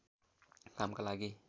कामका लागि